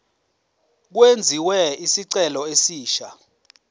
kwenziwe isicelo esisha